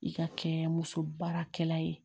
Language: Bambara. I ka kɛ muso baarakɛla ye